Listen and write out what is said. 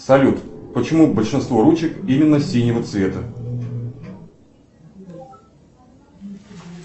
салют почему большинство ручек именно синего цвета